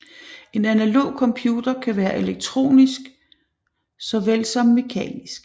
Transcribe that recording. En analog computer kan være elektronisk såvel som mekanisk